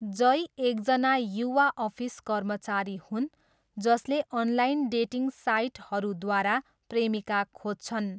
जय एकजना युवा अफिस कर्मचारी हुन् जसले अनलाइन डेटिङ साइटहरूद्वारा प्रेमिका खोज्छन्।